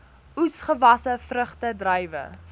oesgewasse vrugte druiwe